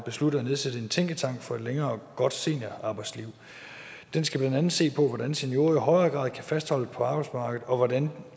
besluttet at nedsætte en tænketank for et længere og godt seniorarbejdsliv den skal blandt andet se på hvordan seniorer i højere grad kan fastholdes på arbejdsmarkedet og hvordan